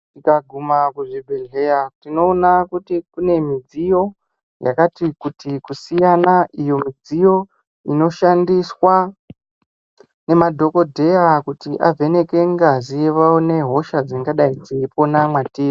Tikaguma kuzvibhedhlera tinoona kuti kune midziyo yakati kuti kusiyana, iyo inoshandisa ngemadhogodheya kuti vavheneke ngazi, vaone hosha dzingadai dzeipona mwatiri.